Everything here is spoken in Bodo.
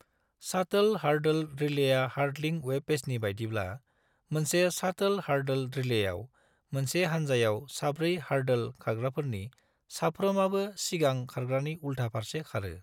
शाटोल हार्डल रिलेया हार्डलिं वेब पेजनि बायदिब्ला: मोनसे शाटोल हार्डल रिलेयाव, मोनसे हान्जायाव साब्रै हार्डोल खारग्राफोरनि साफ्रोमाबो सिगां खारग्रानि उल्था फारसे खारो।